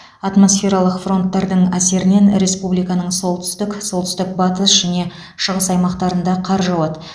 атмосфералық фронттардың әсерінен республиканың солтүстік солтүстік батыс және шығыс аймақтарында қар жауады